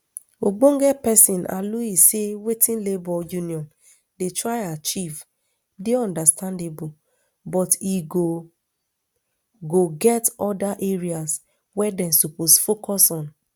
ogbonge pesin aluyi say wetin labour union dey try achieve dey understandable but e go go get oda areas wey dem suppose focus on